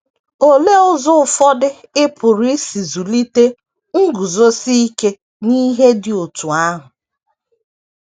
Olee ụzọ ụfọdụ ị pụrụ isi zụlite nguzosi ike n’ihe dị otú ahụ?